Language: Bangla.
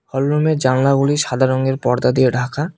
হল রুমের জানলাগুলি সাদা রঙের পর্দা দিয়ে ঢাকা।